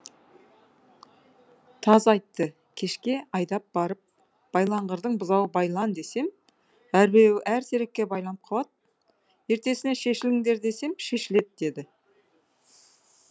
таз айтты кешке айдап барып байлаңғырдың бұзауы байлан десем әрбіреуі әр терекке байланып қалады ертесіне шешіліңдер десем шешіледі деді